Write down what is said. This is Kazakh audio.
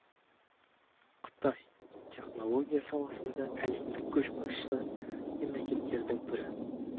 қытай технология саласында әлемдік көшбасшы мемлекеттердің бірі